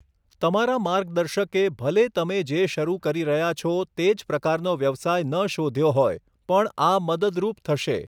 તમારા માર્ગદર્શકે ભલે તમે જે શરૂ કરી રહ્યા છો તે જ પ્રકારનો વ્યવસાય ન શોધ્યો હોય પણ આ મદદરૂપ થશે.